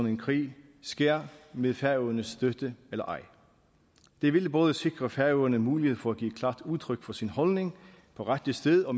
en krig sker med færøernes støtte eller ej det ville både sikre færøerne mulighed for at give klart udtryk for sin holdning på rette sted og